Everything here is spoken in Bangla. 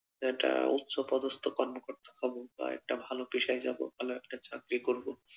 একটা উচ্চ পদস্থ কর্মকর্তা হবো বা একটা ভালো পেশায় যাবো ভালো একটা চাকরি করবো